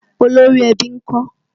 Olórí ẹbí ń kọ́?